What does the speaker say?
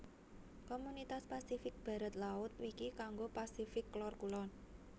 Komunitas Pasifik Barat laut Wiki kanggo Pasifik Lor kulon